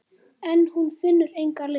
En hún finnur enga lykt.